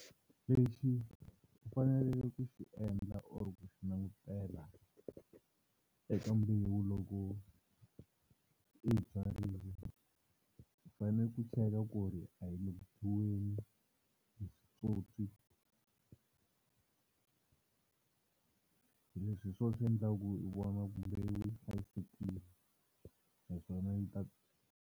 Lexi u faneleke ku xi endla or ku xi langutela eka mbewu loko i yi byarile u fanele ku cheka ku ri a yi le ku dyiweni hi switsotswi leswi hi swona swi endlaka ku i vona ku mbewu yi hlayisekile naswona yi ta.